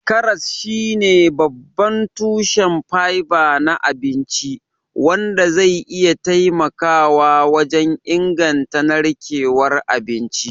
Karas shine babban tushen fiber na abinci, wanda zai iya taimakawa wajen inganta narkewar abinci.